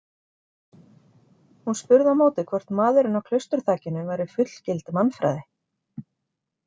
Hún spurði á móti hvort maðurinn á klausturþakinu væri fullgild mannfræði.